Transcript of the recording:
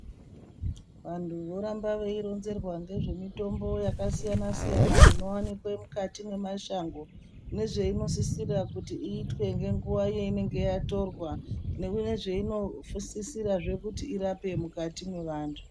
Vantu voramba veironzerwa nezvemitombo yakasiyana siyana Inowanikwa mukati memashango ndozvainosisirwa kuti iite nenguwa zvainosisirwa nezvainosisirwa kuti irape mukati mwevantu.